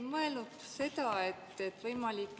Ma hetkel ei loe seda protseduuriliseks küsimuseks.